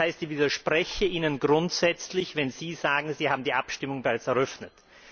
Das heißt, ich widerspreche Ihnen grundsätzlich, wenn Sie sagen, Sie haben die Abstimmung bereits eröffnet.